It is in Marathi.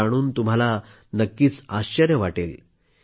हे जाणून तुम्हाला नक्कीच आश्चर्य वाटेल